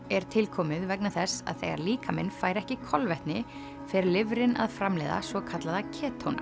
er tilkomið vegna þess að þegar líkaminn fær ekki kolvetni fer lifrin að framleiða svokallaða